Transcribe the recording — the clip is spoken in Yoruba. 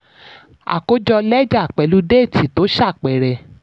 àkójọ lẹ́jà pẹ̀lú déètì tó ṣàpẹẹrẹ.